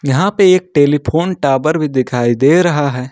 यहां पर एक टेलीफोन टावर भी दिखाई दे रहा है।